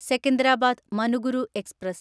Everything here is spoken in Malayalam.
സെക്കന്ദരാബാദ് മനുഗുരു എക്സ്പ്രസ്